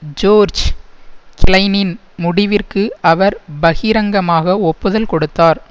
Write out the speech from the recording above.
George கிளைனின் முடிவிற்கு அவர் பகிரங்கமாக ஒப்புதல் கொடுத்தார்